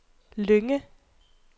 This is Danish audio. Lynge